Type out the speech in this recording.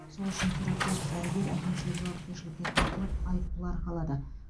сол үшін терапевт дәрігер әкімшілік жауапкершілікке тартылып айыппұл арқалады